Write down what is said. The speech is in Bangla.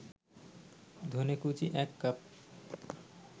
ধনেকুচি ১ কাপ